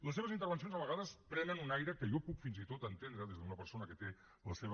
les seves intervencions a vegades prenen un aire que jo puc fins i tot entendre des d’una persona que té la seva